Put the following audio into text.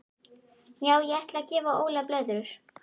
Já ég ætla að gefa Óla blöðrur.